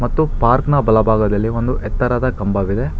ತ್ತು ಪಾರ್ಕ್ ನ ಬಲಭಾಗದಲ್ಲಿ ಒಂದು ಎತ್ತರದ ಕಂಬವಿದೆ.